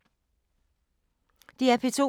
DR P2